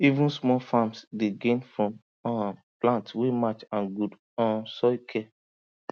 even small farms dey gain from um plant wey match and good um soil care